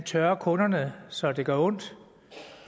tørrer kunderne så det gør ondt